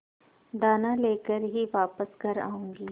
दाना लेकर ही वापस घर आऊँगी